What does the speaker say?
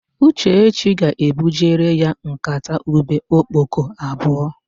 Uchechi ga-ebujere ya nkata ube okpoko abụọ.